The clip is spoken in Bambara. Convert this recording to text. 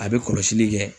A bɛ kɔlɔsili kɛ